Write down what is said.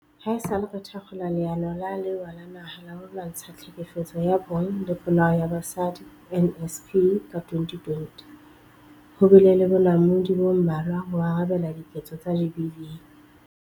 Haesale re thakgola Leano la Lewa la Naha la ho Lwantsha Tlhekefetso ya Bong le Polao ya Basadi, NSP, ka 2020, ho bile le bonamodi bo mmalwa ho arabela diketso tsa GBV.